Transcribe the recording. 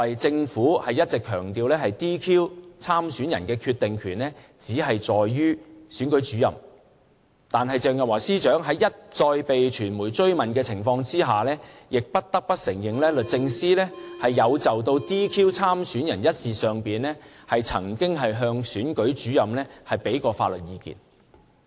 政府一直強調 "DQ" 參選人的決定權只在於選舉主任，但鄭若驊司長在被傳媒一再追問的情況下，亦不得不承認律政司有就 "DQ" 參選人一事上，曾經向選舉主任提供法律意見。